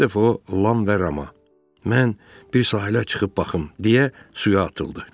Bir dəfə o lan və rama, mən bir sahilə çıxıb baxım, deyə suya atıldı.